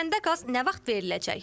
Kəndə qaz nə vaxt veriləcək?